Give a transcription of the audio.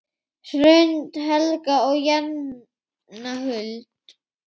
Hrund, Helga og Jenna Huld.